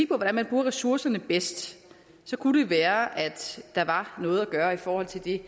hvordan man bruger ressourcerne bedst kunne det være at der var noget at gøre i forhold til det